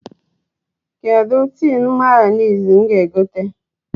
Kedụ tin Mayọnais m ga-egote?